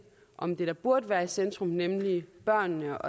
om det der burde være i centrum nemlig børnene